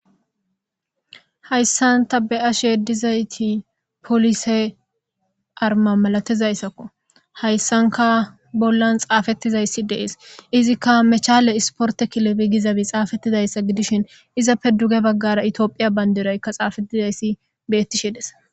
hayssan ta be7ashe dizayti polise arma malatizayssakko hayssanka bollan xaafettizayssi dees izikka mechale isporte kilebi gizabi xaafettidayssa gidishin izappe duge baggara itiophiya bandiraykka xaafetizayssi beetti shides